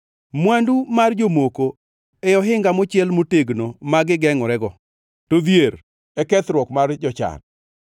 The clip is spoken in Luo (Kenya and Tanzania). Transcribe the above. Mwandu mar jomoko e ohinga mochiel motegno ma gigengʼorego, to dhier e kethruok mar jochan.